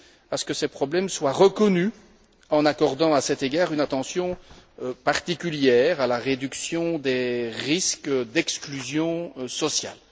à ce que ces problèmes soient reconnus en accordant, à cet égard, une attention particulière à la réduction des risques d'exclusion sociale.